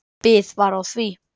Bið var á því.